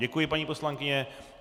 Děkuji, paní poslankyně.